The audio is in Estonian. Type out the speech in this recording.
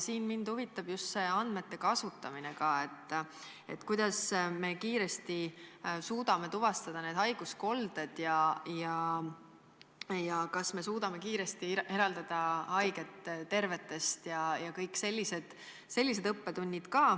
Mind huvitab andmete kasutamine: kuidas me suudame kiiresti tuvastada haiguskoldeid ja kas me suudame kiiresti eraldada haiged tervetest ja kõik sellised õppetunnid.